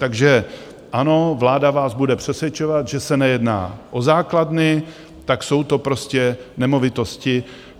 Takže ano, vláda vás bude přesvědčovat, že se nejedná o základny, tak jsou to prostě nemovitosti.